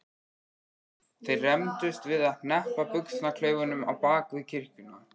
Þeir rembdust við að hneppa buxnaklaufunum á bak við kirkjuna.